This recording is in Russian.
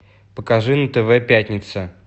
покажи на тв пятница